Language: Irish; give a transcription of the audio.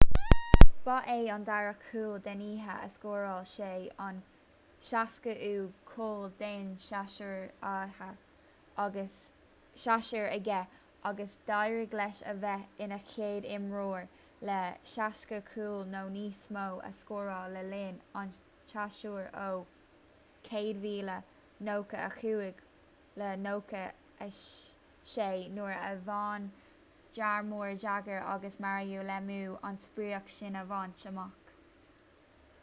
ba é an dara cúl den oíche a scóráil sé an 60ú cúl den séasúr aige agus d'éirigh leis a bheith ina chéad imreoir le 60 cúl nó níos mó a scóráil le linn an tséasúir ó 1995-96 nuair a bhain jaromir jagr agus mario lemieux an sprioc sin a bhaint amach